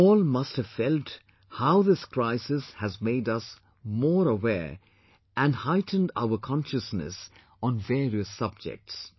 You all must have felt how this crisis has made us more aware and heightened our consciousness on various subjects